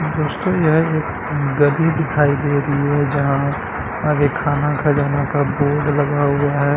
दोस्तो यह एक गद्दी दिखाई दे रही है यहां आगे खाना खजाना का बोर्ड लगा हुआ है।